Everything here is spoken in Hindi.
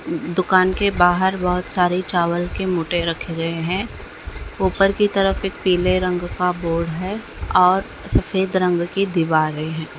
दुकान के बाहर बोहोत सारे चावल के मोटे रखे गए है। ऊपर की तरफ एक पिले रंग का बोर्ड है और सफेद रंग की दीवारे है।